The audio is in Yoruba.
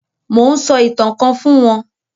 Mò ún sọ ìtàn kan fún wọn